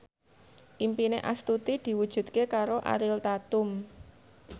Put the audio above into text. impine Astuti diwujudke karo Ariel Tatum